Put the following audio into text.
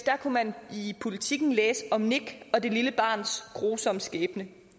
kunne man i politiken læse om nick og det lille barns grusomme skæbne